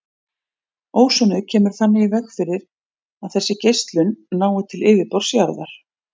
Ósonið kemur þannig í veg fyrir að þessu geislun nái til yfirborðs jarðar.